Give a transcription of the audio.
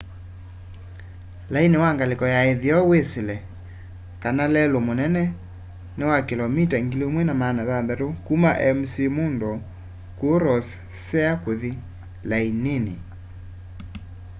laini wa ngaliko ya itheo wisile kana lelu munene ni wa kilomita 1600 kuma mcmurdo kuu ross sea kuthi lainini